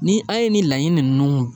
Ni an ye ni laɲini ninnu